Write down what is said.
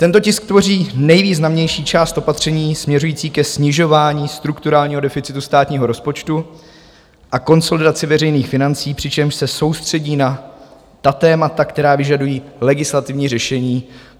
Tento tisk tvoří nejvýznamnější část opatření směřující ke snižování strukturálního deficitu státního rozpočtu a konsolidaci veřejných financí, přičemž se soustředí na ta témata, která vyžadují legislativní řešení.